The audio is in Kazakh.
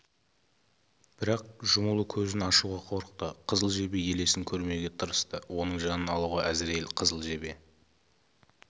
бірақ жұмулы көзін ашуға қорықты қызыл жебе елесін көрмеуге тырысты оның жанын алуға әзірейіл қызыл жебе